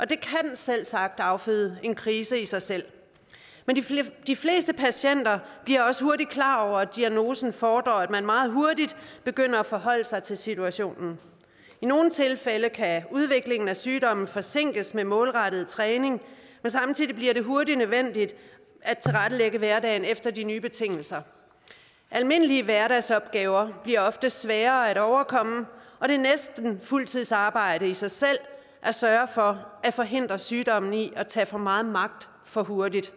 det kan selvsagt afføde en krise i sig selv men de fleste patienter bliver også hurtigt klar over at diagnoser fordrer at man meget hurtigt begynder at forholde sig til situationen i nogle tilfælde kan udviklingen af sygdommen forsinkes med målrettet træning men samtidig bliver det hurtigt nødvendigt at tilrettelægge hverdagen efter de nye betingelser almindelige hverdagsopgaver bliver ofte sværere at overkomme og det er næsten fuldtidsarbejde i sig selv at sørge for at forhindre sygdommen i at tage for meget magt for hurtigt